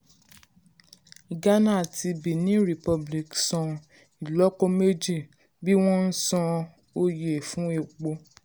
ghana àti benin republic san ìlọ́po méjì bí wón ń san oye san oye fún epo